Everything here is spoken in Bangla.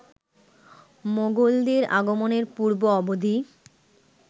মোগলদের আগমনের পূর্ব-অবধি